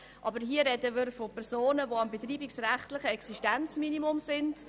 Aber hier sprechen wir von Personen, die am betreibungsrechtlichen Existenzminimum sind.